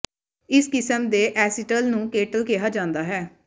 ਇਸ ਕਿਸਮ ਦੇ ਐਸੀਟਲ ਨੂੰ ਕੇਟਲ ਕਿਹਾ ਜਾਂਦਾ ਹੈ